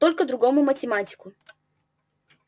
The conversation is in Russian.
только другому математику